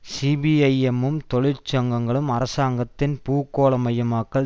சிபிஐஎம்மும் தொழிற்சங்கங்களும் அரசாங்கத்தின் பூகோளமயமாக்கல்